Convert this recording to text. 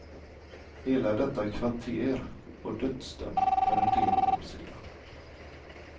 Hela detta kvarter vad dödsdömt för en del år sedan.